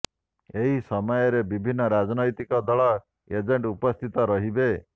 ଏହି ସମୟରେ ବିଭିନ୍ନ ରାଜନୈତିକ ଦଳର ଏଜେଣ୍ଟ ଉପସ୍ଥିତ ରହିବେ